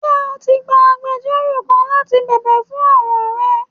Njẹ o ti gbà àgbẹjọró kán láti bẹbẹ fún ọran rẹ?